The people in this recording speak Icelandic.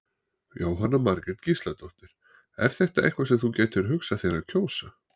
Jóhanna Margrét Gísladóttir: Er þetta eitthvað sem þú gætir hugsað þér að kjósa?